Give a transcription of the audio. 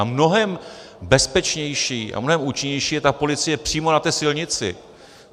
A mnohem bezpečnější a mnohem účinnější je ta policie přímo na té silnici.